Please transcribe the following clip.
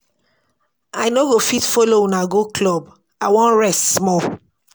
I no go fit follow una go club, I wan rest small